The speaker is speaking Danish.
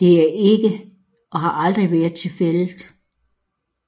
Det er ikke og har aldrig været tilfældet